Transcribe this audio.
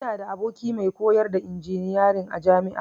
Ina da aboki mai koyar da injiniyarin a jami'a